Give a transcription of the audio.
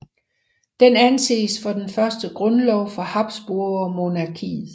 Den anses for den første grundlov for habsburgermonarkiet